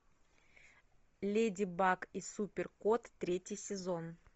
леди бак и супер кот третий сезон